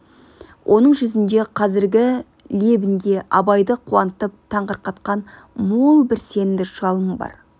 оның жүзінде қазіргі лебінде абайды қуантып таңырқатқан мол бір сенімді жалын бар